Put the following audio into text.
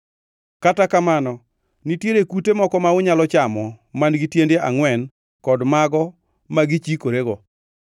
Kata kamano, nitiere kute moko ma unyalo chamo man-gi tiende angʼwen kod mago ma gichikorego.